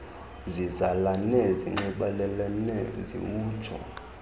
zizalane zinxibelelane ziwutsho